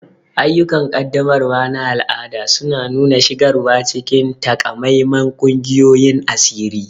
Ayyukan ƙaddamarwa na al'ada suna nuna shigarwa cikin takamaiman ƙungiyoyin asiri.